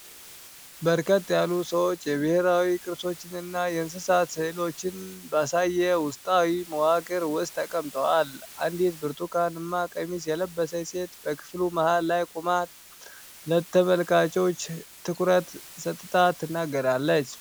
በርከት ያሉ ሰዎች የብሔራዊ ቅርሶችን እና የእንስሳት ሥዕሎችን ባሳየ ውስጣዊ መዋቅር ውስጥ ተቀምጠዋል። አንዲት ብርቱካንማ ቀሚስ የለበሰች ሴት በክፍሉ መሃል ላይ ቆማ ለተመልካቾች ትኩረት ሰጥታ ትናገራለች።